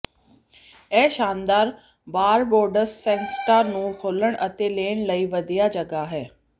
ਇਹ ਸ਼ਾਨਦਾਰ ਬਾਰਬਾਡੋਸ ਸਨਸੈਟਾਂ ਨੂੰ ਖੋਲ੍ਹਣ ਅਤੇ ਲੈਣ ਲਈ ਵਧੀਆ ਜਗ੍ਹਾ ਹੈ